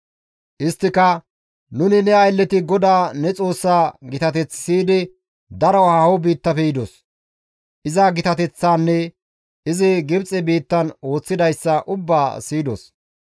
Isttika, «Nuni ne aylleti GODAA ne Xoossaa gitateth siyidi daro haaho biittafe yidos. Iza gitateththaanne izi Gibxe biittan ooththidayssa ubbaa siyidos.